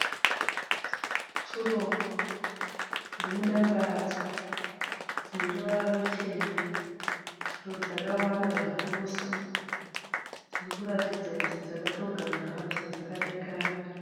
Tsuro dzirimudanga radzo, dzineruvara ruchena. Tsuro dzakawanda zvikurusa. Dzirikuratidza kuti dzakatogara zvadzo dzakadekara.